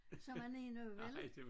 Som man er nu vel?